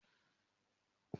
Mo ma lọ wẹ̀ to bá yá.